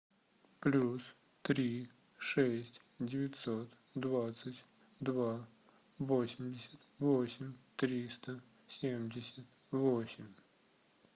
плюс три шесть девятьсот двадцать два восемьдесят восемь триста семьдесят восемь